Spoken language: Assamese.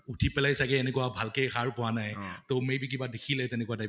উথি পেলাই চাগে এনেকুৱা ভাল কে সাৰ পোৱা নাই । তʼ may be কিবা দেখিলে, তেনেকুৱা type ।